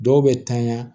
Dɔw bɛ tanya